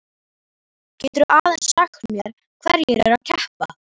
Geturðu aðeins sagt mér hverjir eru að keppa?